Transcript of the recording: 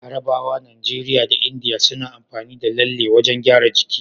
Larabawa, Nigeria da India na amfani da lalle wajan gyaran jiki